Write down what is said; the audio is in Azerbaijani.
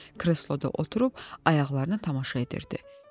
Kresloda oturub ayaqlarına tamaşa edirdi.